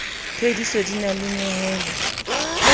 phethiso di na le nyehelo